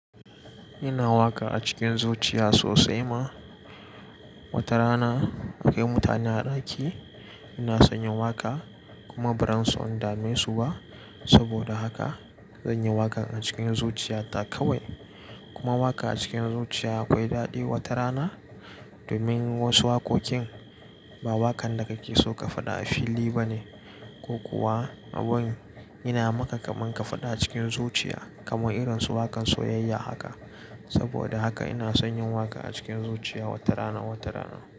Ina waƙa a cikin zuciya sosai ma. Wata rana akwai mutane a ɗaki. Ina son yin waƙa kuma ba ran so in dame su ba. Saboda haka zan yi waƙan a cikin zuciya ta kawai. Kuma waƙa a cikin zuciya akwai daɗi wata rana. Domin wasu waƙoƙin ba waƙan da kake so ka faɗa a fili ba ne. Ko kuwa abin ina maka kamun ka faɗa a cikin zuciya kamar irin su waƙan soyayya haka. Saboda haka ina son yin waƙa a cikin zuciya wata rana, wata rana.